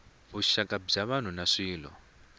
vuxaka bya vanhu na swilo